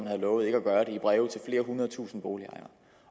havde lovet ikke at gøre det i breve til flere hundrede tusind boligejere